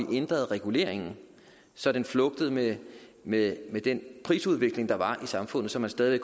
at ændre reguleringen så den flugtede med med den prisudvikling der var i samfundet så man stadig